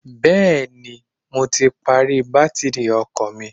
Bẹ́ẹ̀ni, mo ti pàrọ̀ bátìrì ọkọ̀ mi.